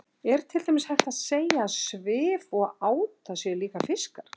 Er til dæmis hægt að segja að svif og áta séu líka fiskar?